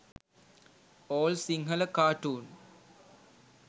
all sinhala cartoon